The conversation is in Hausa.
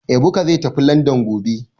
Ebuka zai tafi Landan gobe